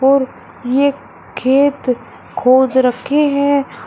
और ये खेत खोद रखे हैं।